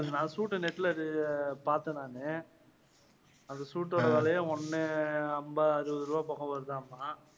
நான் suit அ net ல அது பார்த்தேன் நான். அந்த suit ஓட விலையே ஒண்ணு அம்பது, அறுபது போக வருதாமாம்.